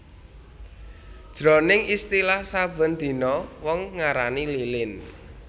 Jroning istilah saben dina wong ngarani lilin